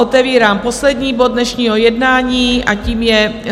Otevírám poslední bod dnešního jednání a tím je